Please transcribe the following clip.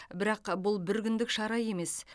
бірақ бұл бір күндік шаруа емес